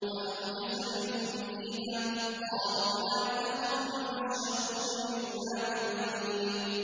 فَأَوْجَسَ مِنْهُمْ خِيفَةً ۖ قَالُوا لَا تَخَفْ ۖ وَبَشَّرُوهُ بِغُلَامٍ عَلِيمٍ